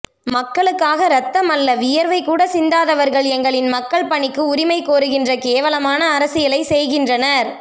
மக்களுக்காக இரத்தமல்ல வியர்வை கூட சிந்தாதவர்கள் எங்களின் மக்கள் பணிக்கு உரிமை கோருகின்ற கேவலமான அரசியலை செய்கின்றனர்